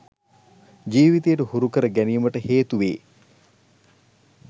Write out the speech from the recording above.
ජීවිතයට හුරු කර ගැනීමට හේතුවේ.